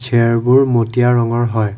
চেয়াৰবোৰ মটীয়া ৰঙৰ হয়।